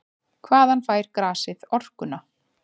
Hvaðan fær grasið orkuna?